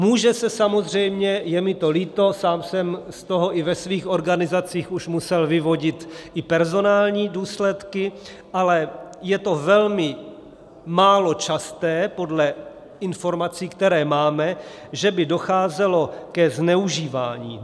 Může se samozřejmě - je mi to líto, sám jsem z toho i ve svých organizacích už musel vyvodit i personální důsledky, ale je to velmi málo časté podle informací, které máme - že by docházelo ke zneužívání.